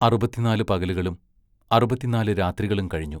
അറുപത്തിനാലു പകലുകളും അറുപത്തിനാലു രാത്രികളും കഴിഞ്ഞു.